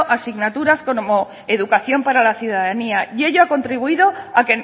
asignaturas como educación para la ciudadanía y ello ha contribuido a